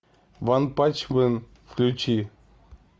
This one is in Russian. ванпанчмен включи